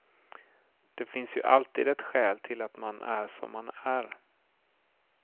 Det finns ju alltid ett skäl till att man är som man är.